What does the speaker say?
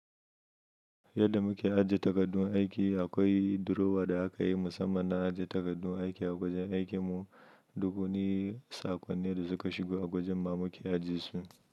Yadda muke ajiye takardun aiki, akwai durowa da aka yi musamman na ajiye takardun aiki a wajen aikin mu. Duk wani sakonnin da suka shigo a wajen ma muke ajiyesu.